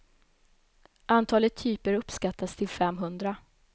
Antalet typer uppskattas till fem hundra.